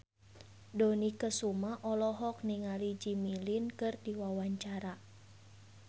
Dony Kesuma olohok ningali Jimmy Lin keur diwawancara